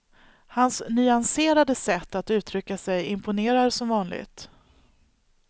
Hans nyanserade sätt att uttrycka sig imponerar som vanligt.